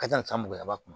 Ka ca san mugan kun